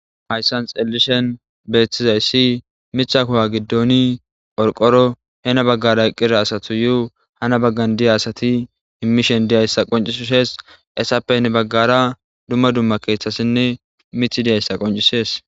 Hayssan xelishin betizayssi mitha kuwa gidoni qorqoro hini bagan eqida asatuyo hani bagan deya asati imishe deyzayssa qoncisses haysape hini bgaarara dumma dumma keethatine mithi deysa qoncisses.